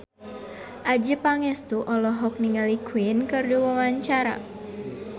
Adjie Pangestu olohok ningali Queen keur diwawancara